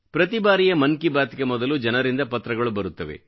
ಪ್ರತಿ ಬಾರಿಯ ಮನ್ ಕಿ ಬಾತ್ ಗೆ ಮೊದಲು ಜನರಿಂದ ಪತ್ರಗಳು ಬರುತ್ತವೆ